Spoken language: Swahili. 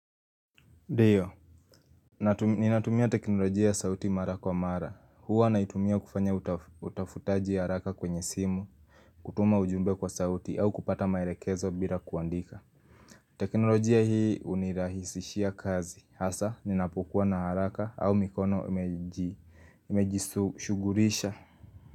Ndiyo, ninatumia teknolojia ya sauti mara kwa mara, huwa naitumia kufanya utafutaji wa haraka kwenye simu, kutuma ujumbe kwa sauti, au kupata maelekezo bila kuandika. Teknolojia hii hunirahisishia kazi, hasa ninapokuwa na haraka au mikono imejishughulisha.